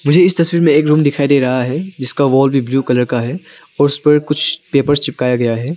मुझे इस तस्वीर में एक रूम दिखाई दे रहा है जिसका वाॅल भी ब्लू कलर का है और उस पर कुछ पेपर चिपकाया गया है।